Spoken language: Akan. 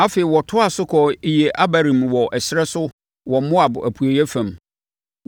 Afei, wɔtoaa so kɔɔ Iye-Abarim wɔ ɛserɛ so wɔ Moab apueeɛ fam.